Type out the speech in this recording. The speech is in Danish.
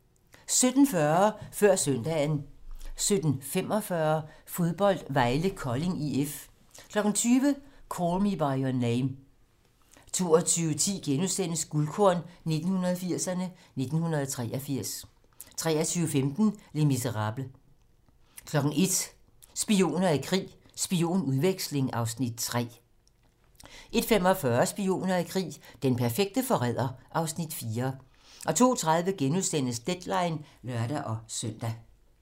17:40: Før søndagen 17:45: Fodbold: Vejle-Kolding IF 20:00: Call Me by Your Name 22:10: Guldkorn 1980'erne: 1983 * 23:15: Les misérables 01:00: Spioner i krig: Spionudveksling (Afs. 3) 01:45: Spioner i krig: Den perfekte forræder (Afs. 4) 02:30: Deadline *(lør-søn)